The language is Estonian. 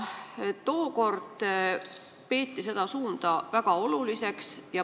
Tookord peeti seda suunda väga oluliseks.